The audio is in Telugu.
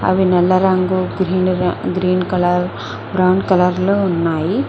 అవి నల్ల రంగు గ్రీన్ కలర్ బ్రౌన్ కలర్ లో ఉన్నాయి.